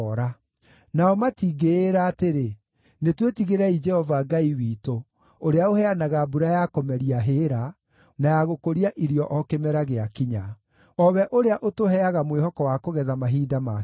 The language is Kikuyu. Nao matingĩĩra atĩrĩ, ‘Nĩtwĩtigĩrei Jehova Ngai witũ, ũrĩa ũheanaga mbura ya kũmeria hĩĩra, na ya gũkũria irio o kĩmera gĩakinya, o we ũrĩa ũtũheaga mwĩhoko wa kũgetha mahinda maakinya.’